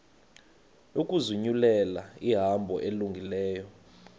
ukuzinyulela ihambo elungileyo